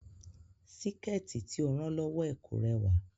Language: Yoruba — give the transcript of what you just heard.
Síkẹ̀tí tí ó rán lọ́wọ́ ẹ̀ kò rẹwà